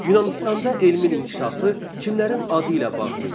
Yunanıstanda elmin inkişafı kimlərin adı ilə bağlı idi?